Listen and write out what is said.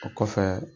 O kɔfɛ